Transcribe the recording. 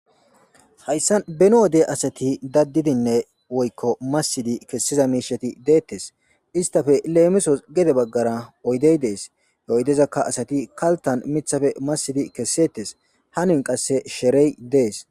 Hayssan beeni wode asati dadidinne woykko masidinne kesiza miishshati de'etes istappe lemisos gede baggara oydey des oydezakka satti miiththan masidinkesetes hanotis qase sherey dees